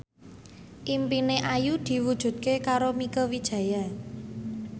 impine Ayu diwujudke karo Mieke Wijaya